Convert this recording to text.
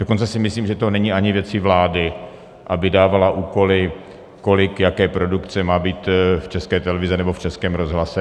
Dokonce si myslím, že to není ani věcí vlády, aby dávala úkoly, kolik jaké produkce má být v České televizi nebo v Českém rozhlase.